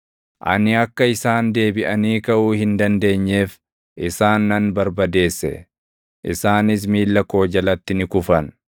Ani akka isaan deebiʼanii kaʼuu hin dandeenyeef isaan nan barbadeesse; isaanis miilla koo jalatti ni kufan.